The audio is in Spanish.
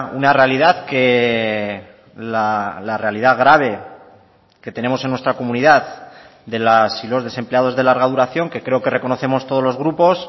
una realidad que la realidad grave que tenemos en nuestra comunidad de las y los desempleados de larga duración que creo que reconocemos todos los grupos